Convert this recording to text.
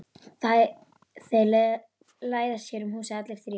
Þeir læðast hér um húsið allir þrír.